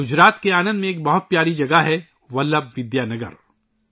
گجرات کے آنندمیں ایک بہت پیاری جگہ ہے ولبھ ودیا نگر